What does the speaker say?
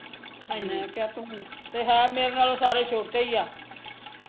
ਤੇ ਮੈਂ ਕਿਹਾ ਤੂੰ ਤੇ ਹੈ ਮੇਰੇ ਨਾਲੋਂ ਸਾਰੇ ਛੋਟੇ ਈ ਆ